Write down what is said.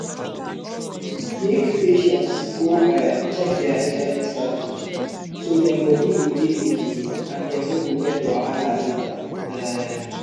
make patients go um check their hiv status so dem body go dey okay and dem no go get wahala later. um